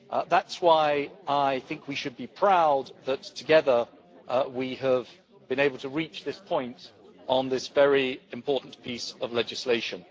That is why I think we should be proud that, together, we have been able to reach this point on this very important piece of legislation.